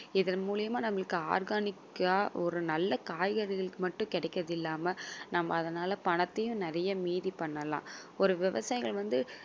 இதன் மூலியமா நம்மளுக்கு organic ஆ ஒரு நல்ல காய்கறிகளுக்கு மட்டும் கிடைக்கிறது இல்லாம நம்ம அதனால பணத்தையும் நிறைய மீதி பண்ணலாம் ஒரு விவசாயிகள் வந்து